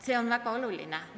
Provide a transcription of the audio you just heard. See on väga oluline.